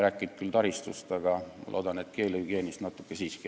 Räägime küll taristust, aga ma loodan, et keelehügieenist natuke siiski ka.